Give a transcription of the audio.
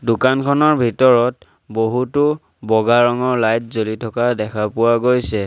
দোকানখনৰ ভিতৰত বহুতো বগা ৰঙৰ লাইট জ্বলি থকা দেখা পোৱা গৈছে।